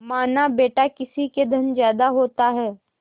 मानाबेटा किसी के धन ज्यादा होता है